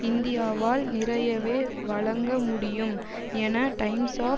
இந்தியாவால் நிறையவே வழங்க முடியும் என டைம்ஸ் ஒ